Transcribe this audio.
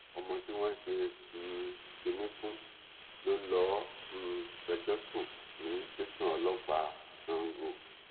ọmọ tí wọn ṣe um kinní fún ló lọọ um fẹjọ sùn ní tẹsán ọlọpàá sango